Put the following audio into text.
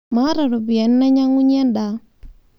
Maata ropiyiani nainyangunyie ndaa